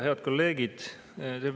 Head kolleegid!